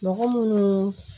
Mɔgɔ munnu